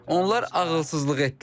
Onlar ağılsızlıq etdilər.